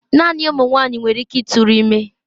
Naanị ụmụ nwanyị nwere ike ịtụrụ ime.